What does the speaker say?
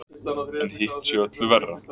En hitt sé öllu verra.